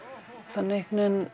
þannig